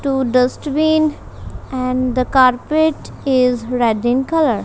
two dustbin and the carpet is red in colour.